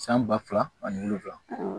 San ba fila ani wolonwula